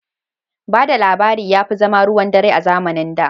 Ba da labari ya fi zama ruwan dare a zamanin da.